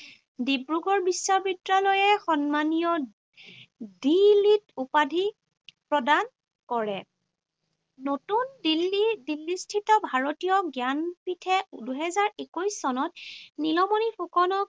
ডিব্ৰুগড় বিশ্ববিদ্যালয়ে সন্মানীয় D Litt উপাধি প্ৰদান কৰে। নতুন দিল্লী দিল্লীস্থিত ভাৰতীয় জ্ঞানপীঠে দুহেজাৰ একৈশ চনত নীলমণি ফুকনক